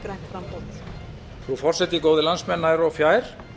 frú forseti góðir landsmenn nær og fjær